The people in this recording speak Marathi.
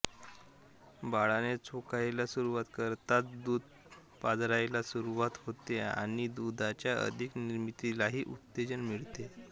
बाळाने चोखायला सुरुवात करताच दूध पाझरायला सुरुवात होते आणि दुधाच्या अधिक निर्मितीलाही उत्तेजन मिळते